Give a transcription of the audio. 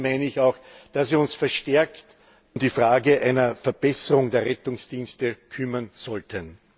Ansonsten meine ich auch, dass wir uns verstärkt um die Frage einer Verbesserung der Rettungsdienste kümmern sollten.